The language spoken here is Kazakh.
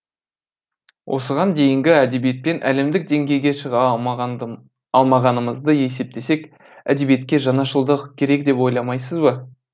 осыған дейінгі әдебиетпен әлемдік деңгейге шыға алмағанымызды есептесек әдебиетке жаңашылдық керек деп ойламайсыз ба